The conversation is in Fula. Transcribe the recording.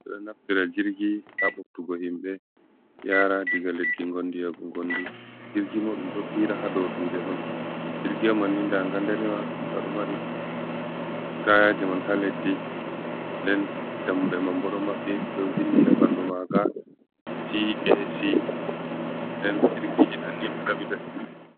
Ɓo ɗo naftira jirgi haa ɓoktugo himɓe yaara diga leddi gondi yaago gondi .Jirgi ma ɗum ɗo fiira haa dow duule on. Jirgi man ni ndaa nga danewa, nga ɗo mari tayaaje man haa leddi .Nden dammuɗe man bo ɗo maɓɓi ɓe ɗo vindi haa ɓanndu maaga TAC nden jirgiji man ɗo ɗaɓɓita himɓe.